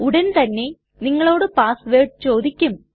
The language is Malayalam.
ഉടൻതന്നെ നിങ്ങളോട് പാസ് വേർഡ് ചോദിക്കും